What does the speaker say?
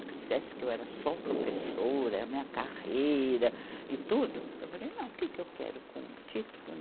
que eu era só professora, minha carreira e tudo, eu falei, não, o que que eu quero com o título?